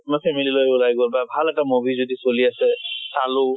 family লৈ ওলাই গল বা ভাল এটা movie যদি চলি আছে, চালো।